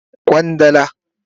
Kwandala